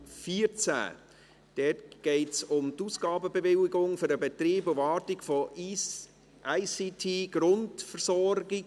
Dort geht es um die Ausgabenbewilligung für den Betrieb und die Wartung der ICT-Grundversorgung.